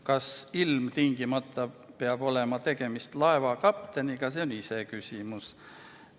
Kas ilmtingimata peab olema tegemist laevakapteniga, on iseküsimus.